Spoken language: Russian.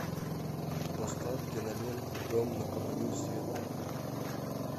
поставь киноленту дом на краю света